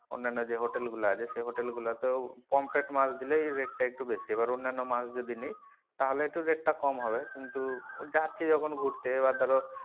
অন্যান্য যে hotel গুলো আছে সেই hotel গুলা তেও পমফ্রে মাছ দিলেই rate একটু বেশি এবার অন্যান্য মাছ গুলো যদি নেই তাহলে একটু rate টা কম হবে কিন্তু যাচ্ছি যখন ঘুরতে বা ধরো,